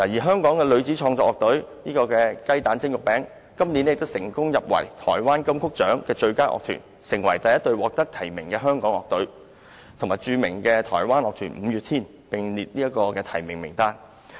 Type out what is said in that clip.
香港女子創作樂隊"雞蛋蒸肉餅"，去年成功入圍台灣金曲獎最佳樂團，成為首隊獲提名的香港樂隊，與著名台灣樂團"五月天"並列提名名單。